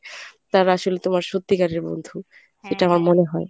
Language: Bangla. তারা আসলে তোমার সত্যিকারের বন্ধু। সেটা আমার মনে হয়।